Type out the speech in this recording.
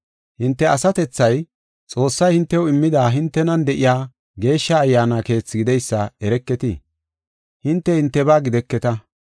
Hinte asatethay, Xoossay hintew immida hintenan de7iya Geeshsha Ayyaana keethi gideysa ereketii? Hinte hintebaa gideketa.